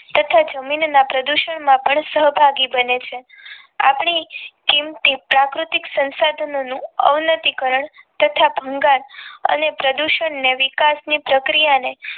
તથા જમીનના પ્રદૂષણ માં પણ સહભાગી બને છે આપણી કીમતી પ્રાકૃતિક સંસાધનોનું અવનવીકરણ તથા ભંગાણ અને પ્રદૂષણ ને વિકાસ ની પ્રક્રિયા ને